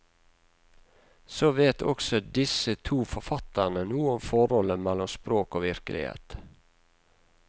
Så vet også disse to forfatterne noe om forholdet mellom språk og virkelighet.